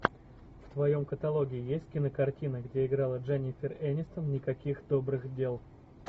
в твоем каталоге есть кинокартина где играла дженнифер энистон никаких добрых дел